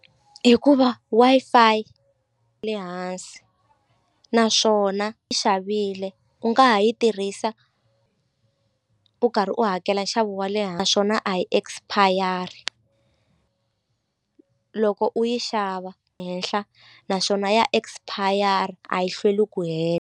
Hikuva Wi-Fi ya le hansi naswona i xavile u nga ha yi tirhisa u karhi u hakela nxavo wa le naswona a yi expire-i loko u yi xava henhla naswona ya expire-a a yi hlweli ku .